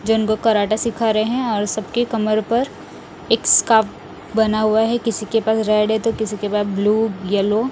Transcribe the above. जन को कराटे सिखा रहे हैं और सबके कमर पर एक स्कार्फ बना हुआ है किसी के पास रेड है तो किसी के पास ब्लू येलो --